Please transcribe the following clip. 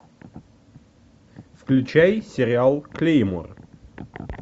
включай сериал клеймор